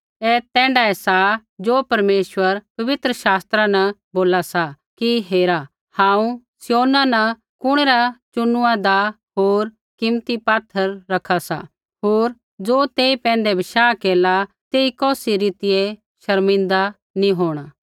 ऐ तैण्ढाऐ सा ज़ो परमेश्वर पवित्र शास्त्रा न बोला सा कि हेरा हांऊँ सिय्योना न कुणै रा चुनुआदा होर कीमती पात्थर रखा सा होर ज़ो तेई पैंधै बशाह केरला तेई कौसी रीतियै शर्मिन्दा नी होंणा